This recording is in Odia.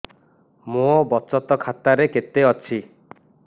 ମୋ ବଚତ ଖାତା ରେ କେତେ ଅଛି